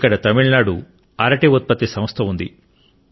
ఇక్కడ తమిళనాడు అరటి ఉత్పత్తి సంస్థ ఉంది